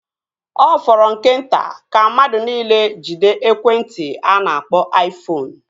Ọ fọrọ nke nta ka mmadụ niile jiwe ekwentị a na-akpọ aifoonu